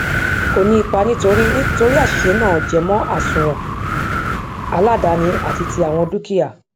ko ni ipa nitori nitori asise naa jemo asúnwòn aladaani àti ti àwọn dúkìá